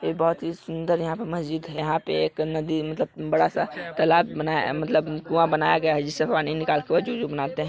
बहुत सुन्दर यहां पर मस्जिद है यहां पे एक नदी मतलब बड़ा सा तालाब बना अ मतलब कुआ बनाया गया है जिससे पानी निकाल कर जु जो बनाते है।